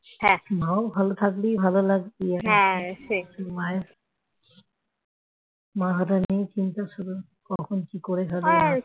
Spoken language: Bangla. হ্যাঁ তোরাও ভালো থাকবি ভালো রাখবি মাকে নিয়ে হঠাৎ চিন্তা শুরু হলে কখন কি করে ফেলে